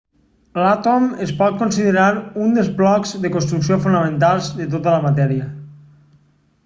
l'àtom es pot considerar un dels blocs de construcció fonamentals de tota la matèria